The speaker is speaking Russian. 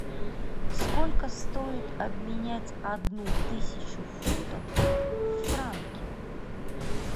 сколько стоит обменять одну тысячу фунтов в франки